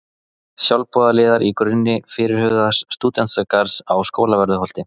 Sjálfboðaliðar í grunni fyrirhugaðs stúdentagarðs á Skólavörðuholti